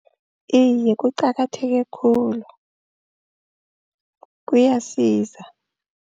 Iye kuqakatheke khulu kuyasiza.